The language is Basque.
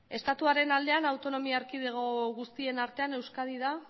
estatuaren aldean autonomi erkidego guztien artean euskadi da